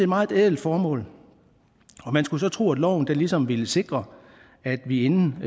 meget ædelt formål og man skulle så tro at loven ligesom ville sikre at vi inden